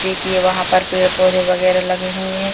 देखिए वहां पर पेड़-पौधे वगैरा लगे हुए हैं।